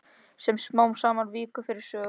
Sem smám saman víkur fyrir sögu.